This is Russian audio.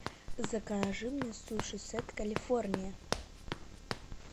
закажи мне суши сет калифорния